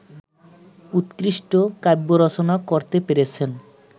উৎকৃষ্ট কাব্যরচনা করতে পেরেছেন